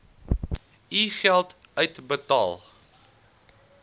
u geld uitbetaal